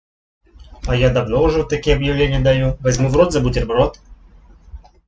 а я давно уже такие объявления даю возьму в рот за бутерброд